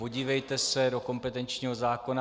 Podívejte se do kompetenčního zákona.